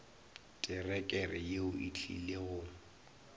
terekere yeo e tlile go